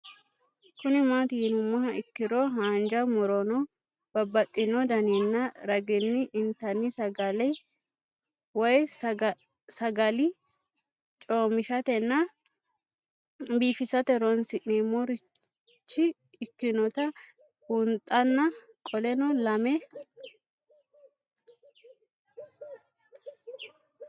Kuni mati yinumoha ikiro hanja muroni babaxino daninina ragini intani sagale woyi sagali comishatenna bifisate horonsine'morich ikinota bunxana qoleno lame?